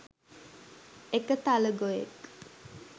එක තලගොයෙක්